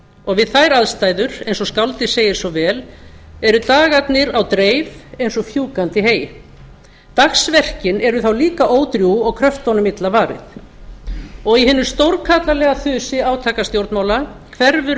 og við þær aðstæður eins og skáldið segir svo vel eru dagarnir á dreif eins og fjúkandi hey dagsverkin eru þá líka ódrjúg og kröftunum illa varið í hinu stórkarlalega þusi átakastjórnmála hverfur